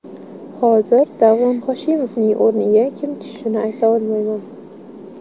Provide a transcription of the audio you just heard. Hozir Davron Hoshimovning o‘rniga kim tushishini ayta olmayman.